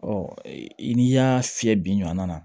n'i y'a fiyɛ biɲɔ na